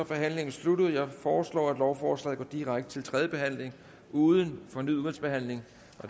forhandlingen sluttet jeg foreslår at lovforslaget går direkte til tredje behandling uden fornyet udvalgsbehandling